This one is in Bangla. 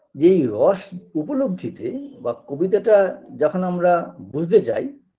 যে এই রস উপলব্ধিতে বা কবিতাটা যখন আমরা বুঝতে যাই